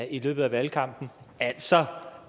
i løbet af valgkampen altså